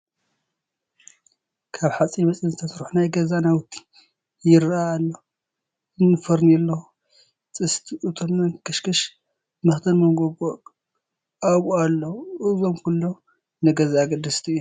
ካብ ሓፂን መፂን ዝተሰርሐ ናይ ገዛ ናውቲ ይርአ ኣሎ፡፡ እኒ ፈርኔሎ፣ ጥስቲ፣ እቶን፣ መንከሽከሽ፣ መኽደን መጐጐ ኣብኡ ኣለዉ፡፡ እዚኦም ኩሎም ንገዛ ኣገደስቲ እዮም፡፡